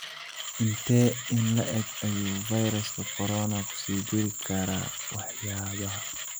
Intee in le'eg ayuu fayraska corona ku sii jiri karaa waxyaabaha?